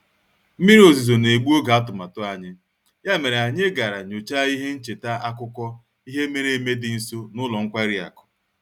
Mmiri ozuzo na-egbu oge atụmatụ anyị, ya mere anyị gara nyochaa ihe ncheta akụkọ ihe mere eme dị nso na ụlọ nkwari akụ